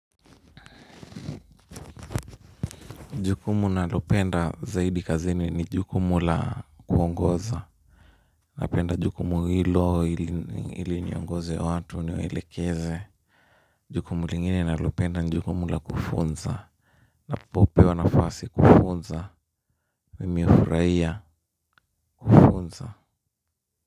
Jukumu nalopenda zaidi kazini ni jukumu la kuongoza. Napenda jukumu hilo ili niongoze watu niwaelekeze. Jukumu lingine nalopenda ni jukumu la kufunza. Napopewa nafasi kufunza. Mimi hufurahia kufunza.